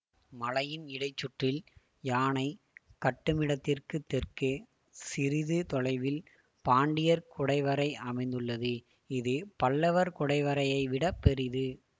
மலையின் இடைச்சுற்றில் யானை கட்டுமிடத்திற்குத் தெற்கே சிறிது தொலைவில் பாண்டியர் குடைவரை அமைந்துள்ளது இது பல்லவர் குடைவரையைவிடப் பெரிது